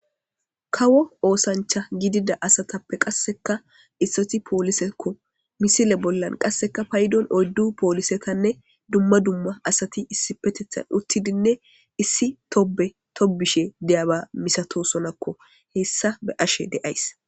Kawo oosancha gidida asatappe qasseka issoti poolisekko misile bollan qasseka paydon oyddu poolisetanne dumma dumma asati issi petethan uttidinne issi tobe tobishe deyaba misato sonakko hessa be ashe deays